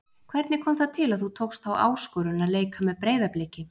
Hvernig kom það til að þú tókst þá áskorun að leika með Breiðabliki?